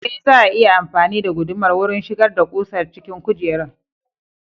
Ee, za a iya amfani da gudumar wurin shigar da ƙusar cikin kujerar.